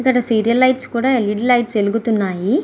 ఇక్కడ serial lights LED lights వెలుగుతున్నాయి.